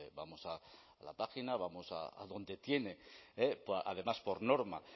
vamos a la página vamos a donde tienen además por norma